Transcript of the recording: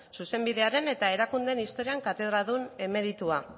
zuzenbidearen eta erakundeen historian katedradun emeritua